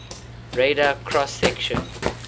radar cross section